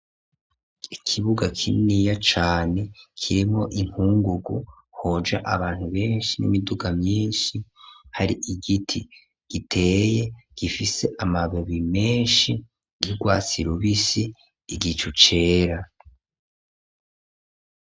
Ikibuga kininiya cane, kirimwo inkungugu, hoja abantu benshi n'imiduga myinshi, hari igiti giteye, gifise amababi menshi, y'urwatsi rubisi, igicu cera.